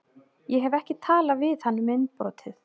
Ég hef ekki talað við hann um innbrotið.